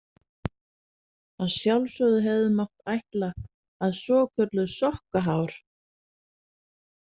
Að sjálfsögðu hefði mátt ætla að svokölluð sokkahár.